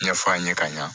Ɲɛfɔ a ɲe ka ɲa